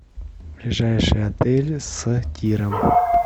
ближайший отель с тиром